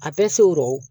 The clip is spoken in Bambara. A bɛɛ se rɔ